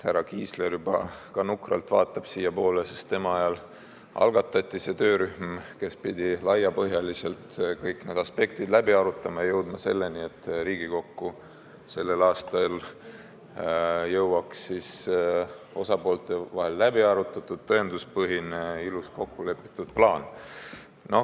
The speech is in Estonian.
Härra Kiisler juba ka nukralt vaatab siiapoole, sest tema ajal asutati see töörühm, kes pidi laiapõhjaliselt kõik need aspektid läbi arutama ja jõudma selleni, et sellel aastal jõuaks Riigikokku osapoolte vahel läbi arutatud, tõenduspõhine, ilus, kokkulepitud plaan.